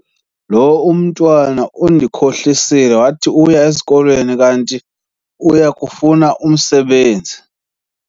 Lo umntwana undihlohlisile wathi uya esikolweni kanti uye kufuna umsebenzi.